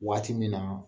Waati min na